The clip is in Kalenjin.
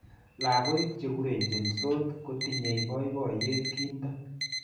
Lakoik chikurenjensot kotinyei boiboiyo kinto.